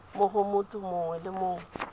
mo go motho mongwe le